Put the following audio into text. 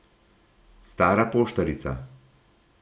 Stara poštarica.